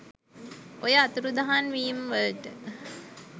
ඔය අතුරුදහන් වීම වලට